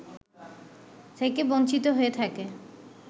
থেকে বঞ্চিত হয়ে থাকে